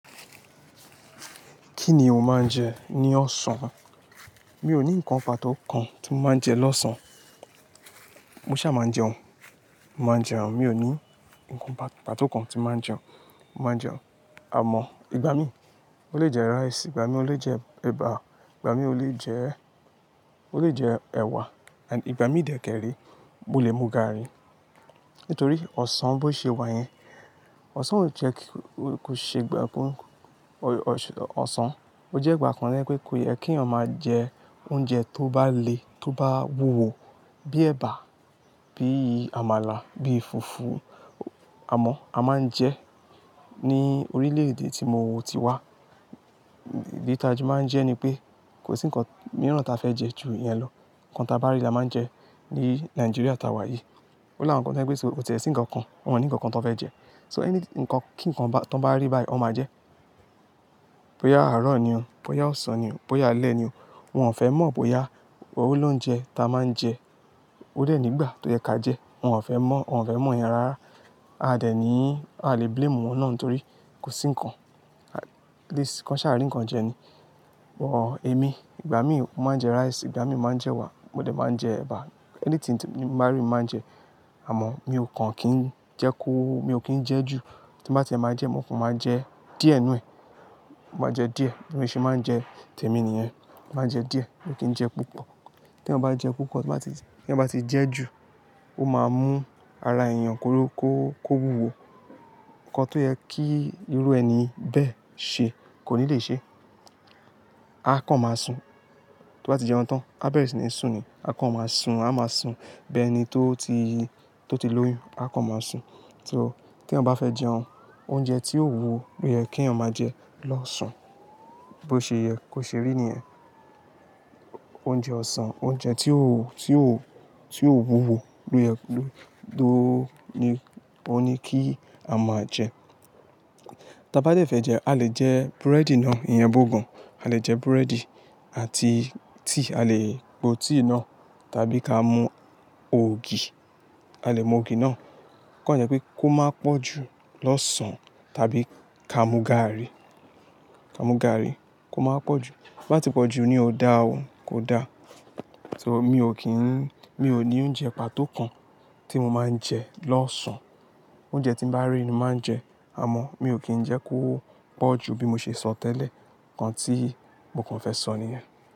Kíni o máa ń jẹ ní ọ̀sán? Mi ò ní ǹkan pàtó kan tí màá ń jẹ lọ́sàn-án. Mo ṣà máa jẹun, màá jẹun. Mi ò ní ǹkan pàtó kan tí màá jẹun, màá jẹun. Àmọ̀, ìgbà mí, mo lè jẹ rice, ìgbà mí mo lè jẹ ẹ̀bà, ìgbà mí mo lè jẹ, mo lè jẹ ẹwà and ìgbà mí dè kẹ́rẹ́, mo lè mú gààrí. Nítorí ọ̀sán bó ṣe wà yẹn, ọ̀sán ò jẹ́ kí ó ṣe gbà bó-- ọ̀sán ó jẹ́ ìgbà kan lẹ́ pé kò yẹ kí ẹ̀yàn máa jẹ oúnjẹ tó bá le, tó bá wúwo bí ẹ̀bà, bí àmàlà, bí fùfú. Àmọ́, a máa ń jẹ ní orílè-èdè tí mo ti wá. Bí táa jù máa ń jẹ ni pé kò sí ǹkan mìíràn ta fẹ́ jẹ jù ìyẹn lọ. Ǹkan ta bá rí là máa ń jẹ. Ní Nàìjíríà tá wà yìí. Ó lá àwọn ǹkan tó jẹ́ pé kò síe sí ǹkan kan, wọ́n ò ní ǹkan kan tan fẹ́ jẹ so ẹni ǹkan kí ǹkan tón bá rí báyìí, wọn máa jẹ. Bóyá àárọ̀ ni o, bóyá ọ̀sán ni o, bóyá alẹ́ ni o, wọn ò fẹ́ mọ̀ bóyá òun lóúnjẹ ta máa ń jẹ. Bó dẹ rí ni gbà tó yẹ ká jẹ́, wọ́n fẹ́ mọ̀ yẹn rárá. Àdé ni, a ò lè blame wọn rárá torí kò sí nǹkan. At least kàn ṣà rí ǹkan jẹ ni. Or èmi ìgbà mí mo máa ń jẹ rice ìgbà mí mo màá ń jẹ ẹwà, mo dẹ̀ máa n jẹ ẹ̀bà. Anything tin bari ni mo máa ń jẹ àmọ̀, mi ò kàn kín jẹ́ kó, mi ò kín jẹ́ jù. Tí màá ti máa jẹ, mo fún màá jẹ díẹ̀ nù e, màá jẹ díẹ̀. Bí mo ṣe máa ń jẹ, tẹ mi nìyẹn. Màá jẹ díẹ̀, mi ò kín jẹ púpọ̀. Tí ẹ bá jẹ púpọ̀, tí ẹ bá ti jẹ́ jù, ó máa mú ara èèyàn kóró kó, kó wúwo. Ǹkan tó yẹ kí irú ẹni bẹ́ẹ̀ ṣe kò ní le ṣẹ. A kàn máa sùn tí o bá ti jẹun tán, a bẹ́rẹ̀ sí ní sùn ni. A kàn máa sùn, a máa sùn bẹ́ẹ̀ ni tó ti, tó ti lóyún. A kàn máa sùn. So tí yàn bá fẹ́ jẹun, oúnjẹ tí ó wúwo ló yẹ kí ẹ̀yàn máa jẹ lọ́sàn. Bí ó ṣe yẹ kó ṣe rí nìyẹn. Oúnjẹ ọ̀sán, oúnjẹ tí ó, tí ó, tí ó wúwo ló yẹ, ló, ló ní, ó ní kí a máa jẹ. Tí a bá jẹ ìfẹ́ jẹ, a lè jẹ búrẹ́dì náà, ìyàn bú gan. A lè jẹ búrẹ́dì àti tíì, a lè po tíì náà tàbí ká mú ògì, a lè mú ògì náà. OKàn jẹ́ pé kó máa pọ̀ jù lọ́sàn tàbí ká mú gààrí, ká mú gààrí kó máa pọ̀ jù. Tó bá ti pọ̀jù ní, ó dáa o. Kò dá. Tó mi ò kì í, mi ò ní jẹ bá tó kan; tí mo máa ń jẹ lósán. Oúnjẹ ni mo bá rí ni mo màá ń jẹ àmọ mio kín jẹ pọ̀jù bí mo ṣe sọ tẹ́lẹ̀ ǹkan tí mo kàn fẹ sọ nìyẹn.